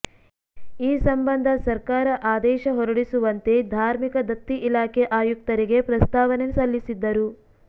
ಈ ಸಂಬಂಧ ಸರ್ಕಾರ ಆದೇಶ ಹೊರಡಿಸುವಂತೆ ಧಾರ್ಮಿಕ ದತ್ತಿ ಇಲಾಖೆ ಆಯುಕ್ತರಿಗೆ ಪ್ರಸ್ತಾವನೆ ಸಲ್ಲಿಸಿದ್ದರು